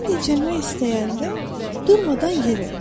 Sən dincəlmək istəyəndə durmadan yeri.